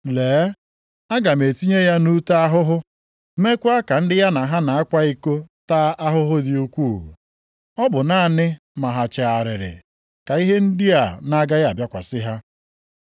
Lee, aga m etinye ya nʼute ahụhụ, meekwa ka ndị ya na ha na-akwa iko taa ahụhụ dị ukwuu. Ọ bụ naanị ma ha chegharịrị ka ihe ndị a na-agaghị abịakwasị ha.